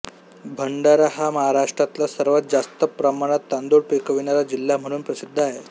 भंडारा हा महाराष्ट्रातला सर्वात जास्त प्रमाणात तांदूळ पिकविणारा जिल्हा म्हणून प्रसिद्ध आहे